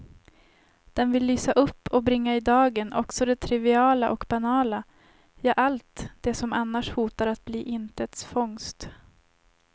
Den vill lysa upp och bringa i dagen också det triviala och banala, ja allt det som annars hotar att bli intets fångst.